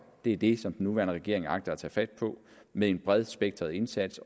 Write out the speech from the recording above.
det er det som den nuværende regering agter at tage fat på med en bredspektret indsats